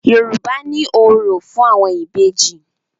Yorùbá ní òrò fún àwọn Ìbejì.